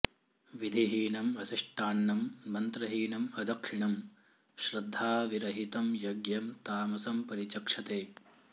विधिहीनम् असृष्टान्नं मन्त्रहीनम् अदक्षिणम् श्रद्धाविरहितं यज्ञं तामसं परिचक्षते